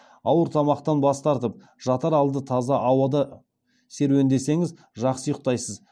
ауыр тамақтан бас тартып жатар алды таза ауада серуендесеңіз жақсы ұйықтайсыз